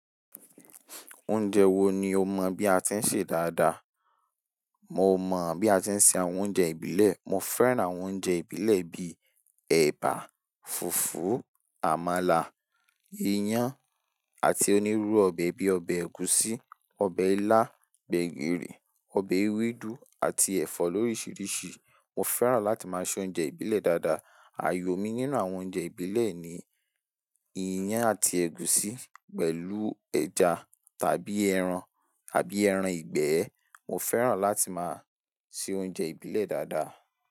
Oúnjẹ wo ni o mọ̀ bí a ti ń ṣe dáadáa? Mo mọ̀ bí a ti ń se àwọn oúnjẹ ìbílẹ̀. Mo fẹ́ràn àwọn oúnjẹ ìbílẹ̀ bíi ẹ̀bà, fùfú, àmàlà, iyán, àti onírúurú ọbẹ̀ bíi ọbẹ̀ ẹ̀gúsí, ọbẹ̀ ilá, gbẹ̀gìrì, ọbẹ̀ ewédú àti ẹ̀fọ́ lóríṣiríṣi. Mo fẹ́ràn láti máa se oúnjẹ ìbílẹ̀ dáadáa. Àyò mi nínú àwọn oúnjẹ ìbílẹ̀ ni iyán àti ẹ̀gúsí pẹ̀lú ẹja tàbí ẹran, àbí ẹran ìgbẹ́. Mo fẹ́ràn láti máa se oúnjẹ ìbílẹ̀ dáadáa.